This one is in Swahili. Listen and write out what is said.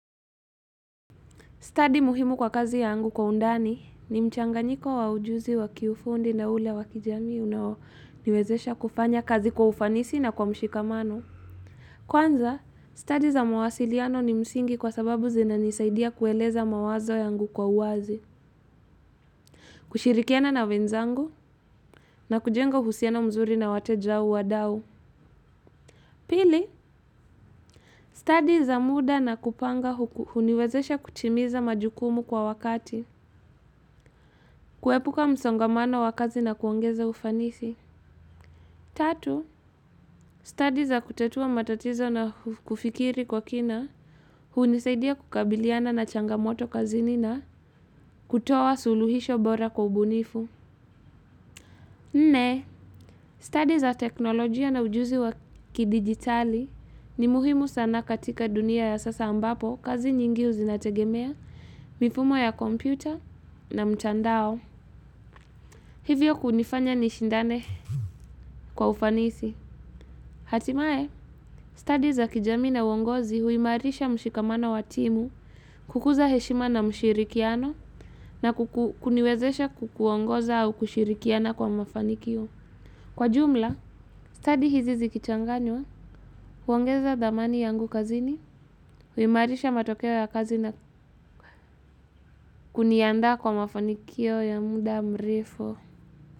Study muhimu kwa kazi yangu kwa undani ni mchanganyiko wa ujuzi wa kiufundi na ule wa kijamii unaoniwezesha kufanya kazi kwa ufanisi na kwa mshikamano. Kwanza, study za mawasiliano ni msingi kwa sababu zinanisaidia kueleza mawazo yangu kwa uwazi. Kushirikiana na wenzangu na kujenga uhusiano mzuri na wateja au wadau. Pili, study za muda na kupanga huniwezesha kutimiza majukumu kwa wakati. Kuepuka msongamano wa kazi na kuongeza ufanisi. Tatu, study za kutatua matatizo na kufikiri kwa kina, hunisaidia kukabiliana na changamoto kazini na, kutoa suluhisho bora kwa ubunifu. Nne, study za teknolojia na ujuzi wa kidigitali ni muhimu sana katika dunia ya sasa ambapo kazi nyingi zinategemea, mifumo ya kompyuta na mtandao. Hivyo kunifanya nishindane kwa ufanisi. Hatimaye, study za kijamii na uongozi huimarisha mshikamano wa timu kukuza heshima na mshirikiano na kuniwezesha kukuongoza au kushirikiana kwa mafanikio. Kwa jumla, study hizi zikichanganywa, huongeza dhamani yangu kazini, huimarisha matokeo ya kazi na kuniandaa kwa mafanikio ya muda mrefu.